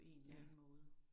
Ja